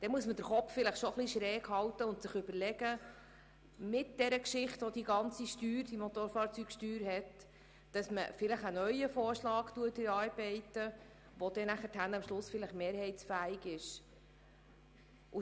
Dann muss man den Kopf vielleicht etwas schräg halten und aufgrund der ganzen Geschichte der Motorfahrzeugsteuer einen neuen Vorschlag erarbeiten, der dann auch mehrheitsfähig ist.